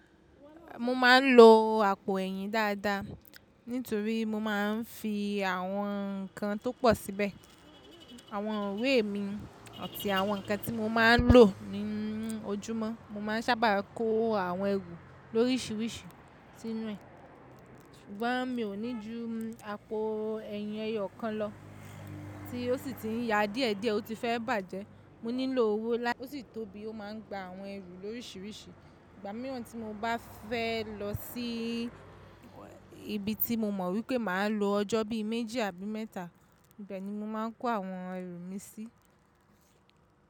Mo ma n lo àpò eyín dáadáa nítorí mo máa n fi àwọn nnkan tó pọ̀ síbẹ̀. Àwọn ìwé mi àti àwọn nnkan tí mo máa n lò ní ojúmọ́. Mo ma ń sábà kó àwọn ẹrù lórísìírísìí sínú ẹ̀. Ṣùgbọ́n mi ò ní jú àpò ẹyín ẹyọ kan lọ tí ó sì ti n ya díẹ̀ díẹ̀, ó ti fẹ́ bàjẹ́. Mo nílò owó, osi tóbí ó máa n gba àwọn ẹrù lórísìírísìí. Ìgbà mìíràn tí mo bá fẹ́ lọ sí ibi tí mo mọ̀ wípé màá lo ọjọ́ bí i méjì àbí mẹ́ta, ibẹ̀ ni mo máa n kó àwọn ẹrù mi sí.